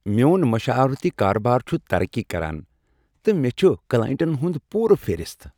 میون مشاورتی کارٕبار چھ ترقی کران، تہٕ مےٚ چھ کلاینٹن ہُند پُورٕ فہرست۔